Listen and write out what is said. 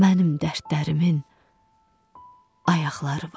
Mənim dərdlərimin ayaqları var.